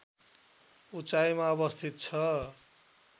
उचाइमा अवस्थित छ